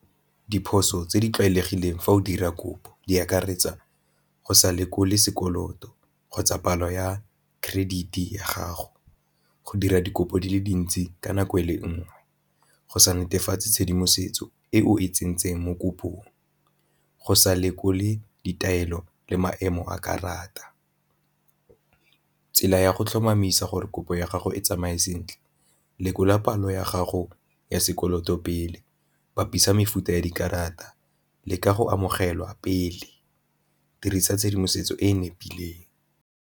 Diphoso tse di tlwaelegileng fa o dira kopo di akaretsa go sa lekole sekoloto kgotsa palo ya credit ya gago, go dira dikopo di le dintsi ka nako e le nngwe, go sa netefatse tshedimosetso e o e tsentseng mo kopong, go sa lekole ditaelo le maemo a karata. Tsela ya go tlhomamisa gore kopo ya gago e tsamaye sentle lekola palo ya gago ya sekoloto pele, bapisa mefuta ya dikarata le ka go amogelwa pele, dirisa tshedimosetso e e nepileng.